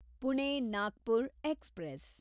Pune Nagpur express